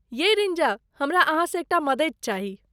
यै रिंजा, हमरा अहाँसँ एकटा मदति चाही।